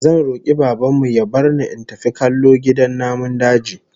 Zan roki Baban mu ya bar ni in tafi kallo gidan namun daji